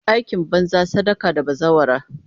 Aikin banza, sadaka da bazawara.